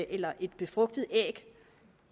eller et befrugtet æg